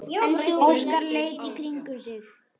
Óskar leit í kringum sig.